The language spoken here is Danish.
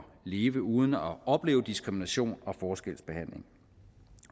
leve uden at opleve diskrimination og forskelsbehandling